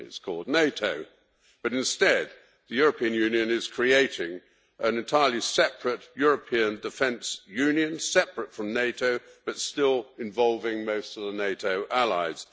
It is called NATO, but instead the European Union is creating an entirely separate European defence union separate from NATO but still involving most of the NATO allies.